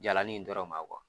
Jalan nin dɔrɔn ma kuwa